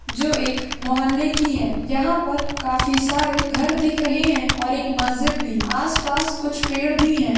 जो एक महोल्ले की है यहां पर काफी सारे घर दिख रहे है और एक मस्जिद भी आस-पास कुछ पेड़ भी है।